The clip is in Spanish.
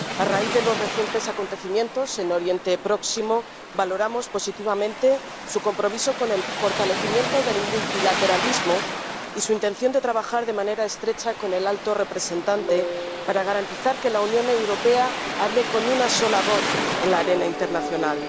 A raíz de los recientes acontecimientos en Oriente Próximo, valoramos positivamente su compromiso con el fortalecimiento del multilateralismo y su intención de trabajar de manera estrecha con el alto representante para garantizar que la Unión Europea hable con una sola voz en la arena internacional.